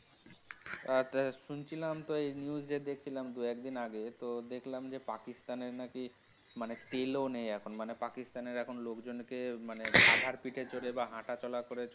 এহঃ শুনছিলাম তো news যে দেখছিলাম দু একদিন আগে তো দেখলাম যে পাকিস্তান এর নাকি মানে তেলও নেই এখন. মানে পাকিস্তান এর এখন লোকজনকে মানে গাধার পিঠে চড়ে বা হাঁটাচলা করে.